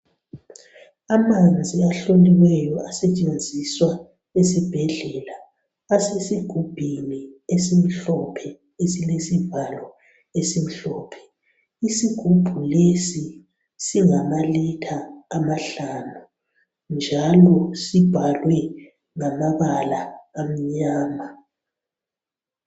Amanzi ahloliweyo asetshenziswa ezibhendlela asesigubhini esimhlophe elilesivalo esimhlophe. Isigubhu lesi singamalitre amahlanu njalo sibhalwe ngamabala amnyama